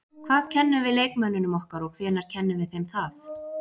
Hvað kennum við leikmönnunum okkar og hvenær kennum við þeim það?